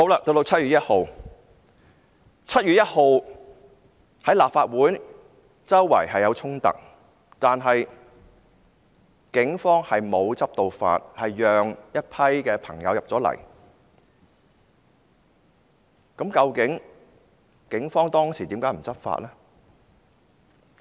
到了7月1日，立法會大樓外四處發生衝突，但警方沒有執法，結果讓一群朋友進入了立法會，究竟警方當時為何不執法呢？